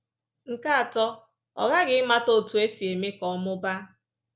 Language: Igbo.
Nke atọ, ọ ghaghị ịmata otú e si eme ka ọ mụbaa